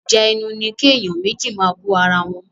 Ìjà ẹnu ní kí èèyàn méjì máa bú ara wọn.